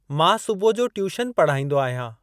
मां सुबुह जो ट्यूशन पढ़ाईंदो आहियां।